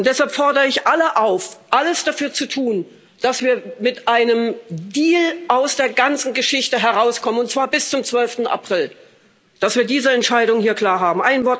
Deshalb fordere ich alle auf, alles dafür zu tun, dass wir mit einem Deal aus der ganzen Geschichte herauskommen, und zwar bis zum 12. April, dass wir diese Entscheidung klar haben.